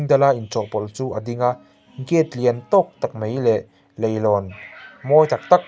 dala inchawhpawlh chu a ding a gate lian tawk tak mai leh leilawn mawi tak tak--